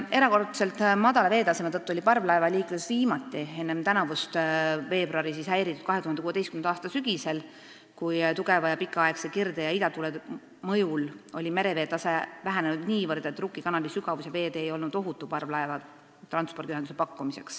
Erakordselt madala veetaseme tõttu oli parvlaevaliiklus viimati enne tänavust veebruari häiritud 2016. aasta sügisel, kui tugeva ja pikaaegse kirde- ja idatuule mõjul oli mereveetase vähenenud niivõrd, et Rukki kanali sügavus ja veetee ei olnud ohutu parvlaevaühenduse pakkumiseks.